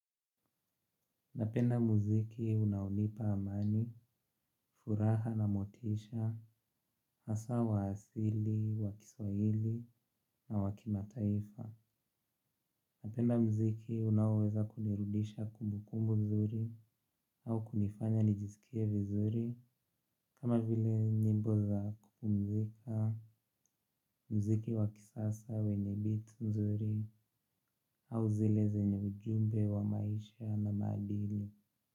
Napenda muziki unaonipa amani, furaha na motisha, hasa wa asili, wa kiswahili na wa kimataifa. Napenda muziki unaoweza kunirudisha kumbukumbu mzuri au kunifanya nijisikie vizuri, kama vile nyimbo za kupumzika, mziki wakisasa wenye beats nzuri au zile zenye ujumbe wa maisha na maadili.